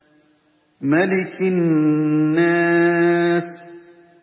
مَلِكِ النَّاسِ